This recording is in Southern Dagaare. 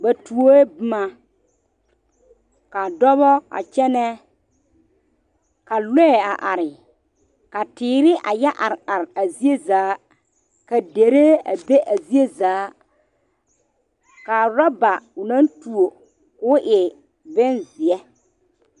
Ba tuoŋ boma ka dɔba a kyɛnɛ ka lɔɛ are are ka teere a yɛ are are a zie zaa ka dirɛɛ a be a zie zaa ka orɔba o naŋ tuo ko o bonzie